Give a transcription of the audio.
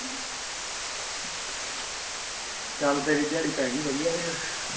ਚਲ ਤੇਰੀ ਦਿਹਾੜੀ ਪੈ ਗਈ ਨਾ ਵਦੀਆ ਫੇਰ